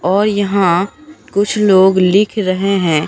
और यहां कुछ लोग लिख रहे हैं।